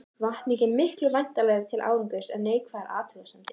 Hvatning er miklu vænlegri til árangurs en neikvæðar athugasemdir.